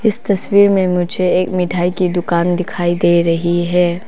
इस तस्वीर में मुझे एक मिठाई की दुकान दिखाई दे रही है।